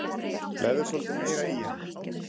Legðu svolítið meira í hana.